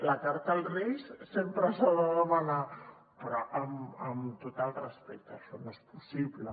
la carta als reis sempre s’ha de demanar però amb tot el respecte això no és possible